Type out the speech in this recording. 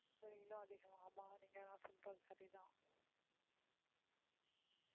வெயிலும் அதிகம் ஆமா நீங்க சொல்றது சரிதான்